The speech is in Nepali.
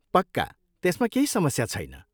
पक्का! त्यसमा केही समस्या छैन।